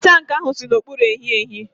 tankị ahụ si n'okpuru ehiehi